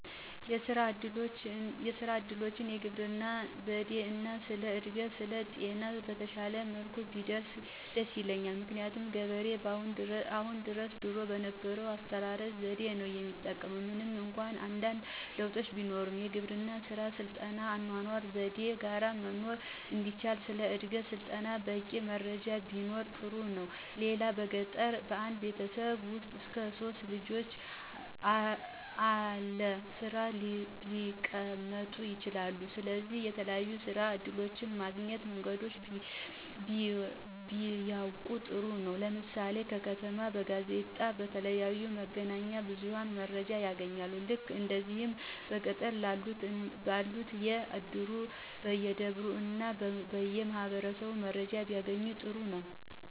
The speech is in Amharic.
የስራ እድሎች፣ የግብርና ዘዴ እና ስለ እድገት እና ስልጣኔ በተሻለ መልኩ ቢደርስ ደስ ይለኛል። ምክንያቱም ገበሬው አሁን ድረስ ድሮ የነበረውን አስተራረስ ዘዴ ነው የሚጠቀም ምንም እንኳ አንዳንድ ለውጦች ቢኖሩም። የግብርና ስራን ከሰለጠነ የአኗኗር ዘዴ ጋረ መኖር እንዲቻል ስለ እድገትና ስልጣኔ በቂ መረጃም ቢኖር ጥሩ ነው። ሌላው በገጠር በአንድ ቤተሰብ ውስጥ እስከ 3 ልጆች አለስራ ሊቀመጡ ይችላሉ ስለዚህ የተለያዩ የስራ እድሎች ማግኛ መንገዶችን ቢያውቁ ጥሩ ነው። ለምሳሌ ከተማ በጋዜጣ፣ በተለያዩ የመገናኛ ብዙኃን መረጃ ያገኛሉ። ልክ እንደዚህ በገጠርም ላሉት በየ እድሩ፣ በየደብሩ እና በየ ማኅበራቱ መረጃ ቢያገኙ ጥሩ ነው